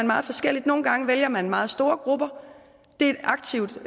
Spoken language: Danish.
meget forskelligt nogle gange vælger man meget store grupper det er et aktivt